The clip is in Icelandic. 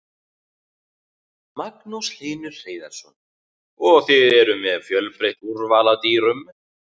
Magnús Hlynur Hreiðarsson: Og þið eruð með fjölbreytt úrval af dýrum?